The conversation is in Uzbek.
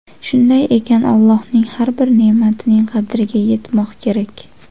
Shunday ekan, Allohning har bir ne’matining qadriga yetmoq kerak.